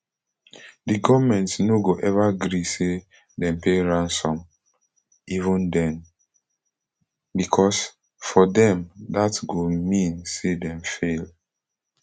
di goment no go eva gree say dem pay ransom [even den] becos for dem dat go mean say dem fail